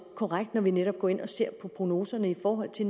korrekt når vi netop går ind og ser på prognoserne i forhold til